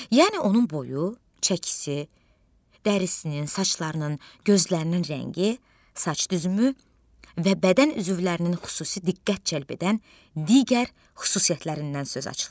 Yəni onun boyu, çəkisi, dərisinin, saçlarının, gözlərinin rəngi, saç düzümü və bədən üzvlərinin xüsusi diqqət cəlb edən digər xüsusiyyətlərindən söz açılır.